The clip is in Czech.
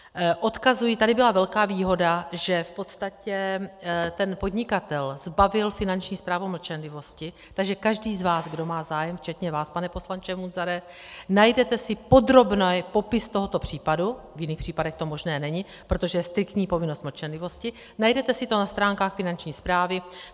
Odkazuji, tady byla velká výhoda, že v podstatě ten podnikatel zbavil Finanční správu mlčenlivosti, takže každý z vás, kdo má zájem včetně vás, pane poslanče Munzare, najdete si podrobný popis tohoto případu, v jiných případech to možné není, protože je striktní povinnost mlčenlivosti, najdete si to na stránkách Finanční správy.